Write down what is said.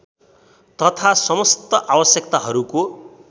तथा समस्त आवश्यकताहरूको